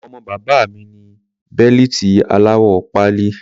Ọmọ bàbá mi ní bẹ́lìtì aláwọ̀ pálí.